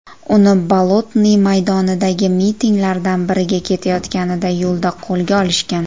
Uni Bolotniy maydonidagi mitinglardan biriga ketayotganida yo‘lda qo‘lga olishgan.